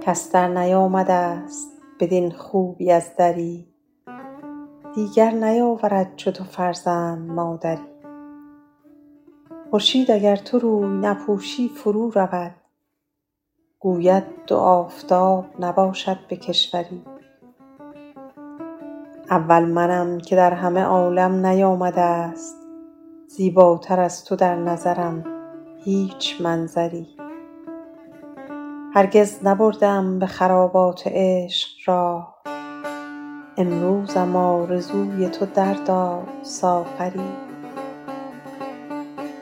کس درنیامده ست بدین خوبی از دری دیگر نیاورد چو تو فرزند مادری خورشید اگر تو روی نپوشی فرو رود گوید دو آفتاب نباشد به کشوری اول منم که در همه عالم نیامده ست زیباتر از تو در نظرم هیچ منظری هرگز نبرده ام به خرابات عشق راه امروزم آرزوی تو در داد ساغری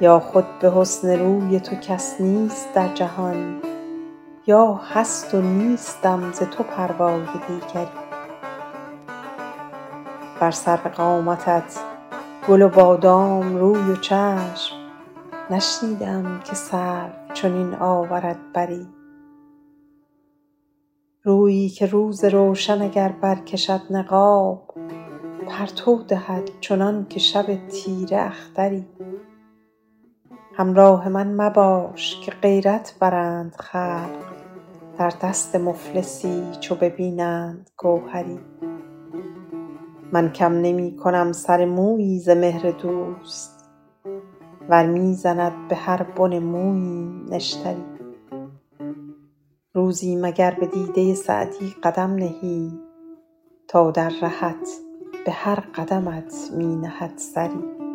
یا خود به حسن روی تو کس نیست در جهان یا هست و نیستم ز تو پروای دیگری بر سرو قامتت گل و بادام روی و چشم نشنیده ام که سرو چنین آورد بری رویی که روز روشن اگر برکشد نقاب پرتو دهد چنان که شب تیره اختری همراه من مباش که غیرت برند خلق در دست مفلسی چو ببینند گوهری من کم نمی کنم سر مویی ز مهر دوست ور می زند به هر بن موییم نشتری روزی مگر به دیده سعدی قدم نهی تا در رهت به هر قدمت می نهد سری